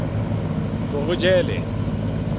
morojele